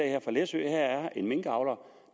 her fra læsø her er der en minkavler